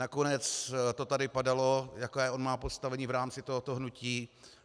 Nakonec to tady padalo, jaké on má postavení v rámci tohoto hnutí.